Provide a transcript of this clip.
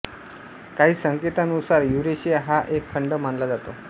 काही संकेतांनुसार युरेशिया हा एक खंड मानला जातो